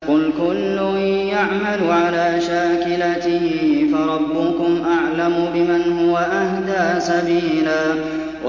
قُلْ كُلٌّ يَعْمَلُ عَلَىٰ شَاكِلَتِهِ فَرَبُّكُمْ أَعْلَمُ بِمَنْ هُوَ أَهْدَىٰ سَبِيلًا